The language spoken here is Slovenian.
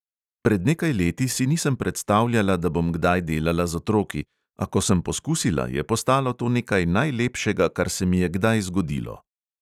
Pred nekaj leti si nisem predstavljala, da bom kdaj delala z otroki, a ko sem poskusila, je postalo to nekaj najlepšega, kar se mi je kdaj zgodilo.